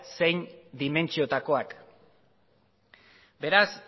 zein dimentsiotakoak beraz